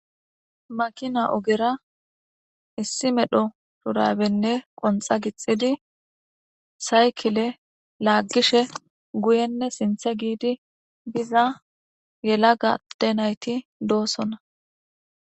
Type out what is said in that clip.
Makina ogera issi medho surabenne qonxa gixidi saykile laaggishe guyenne sinthe giidi biza yela gadde nayti doosona.